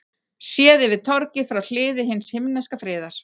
Séð yfir torgið frá Hliði hins himneska friðar.